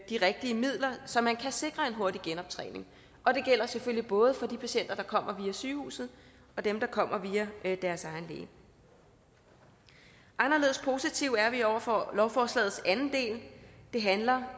de rigtige midler så man kan sikre en hurtig genoptræning og det gælder selvfølgelig både for de patienter der kommer via sygehuset og dem der kommer via deres egen læge anderledes positive er vi over for lovforslagets anden del der handler